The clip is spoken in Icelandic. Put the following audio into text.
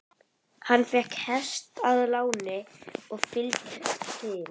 Hann fékk hest að láni og fylgd til